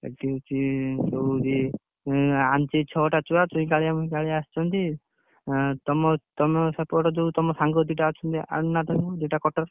ଏଠି ହଉଛି ଦଉଚି, ଉଁ ଆଣିଚି ଛଅଟା ଛୁଆ ସେଇ ଖେଳିଆକୁ ଆସିଛନ୍ତି। ଉଁ ତମ ତମ ସେପଟ ଯୋଉ ତମ ସାଙ୍ଗ ଦିଟା ଅଛନ୍ତି ଆଣୁନା ତାଙ୍କୁ ଦିଟା ।